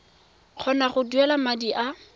kgona go duela madi a